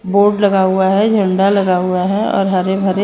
board लगा हुआ है झंडा लगा हुआ है और हरे हरे --